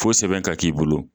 Fo sɛbɛn ka k'i bolo